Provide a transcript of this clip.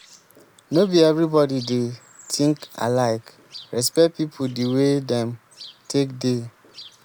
no be everybody dey think alike respect pipo di way dem take dey